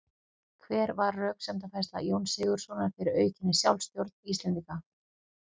Hver var röksemdafærsla Jóns Sigurðssonar fyrir aukinni sjálfstjórn Íslendinga?